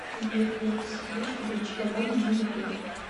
сбер верка сердючка дольче габбана на ютуб